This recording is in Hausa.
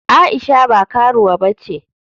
Aisha ba karuwa bace.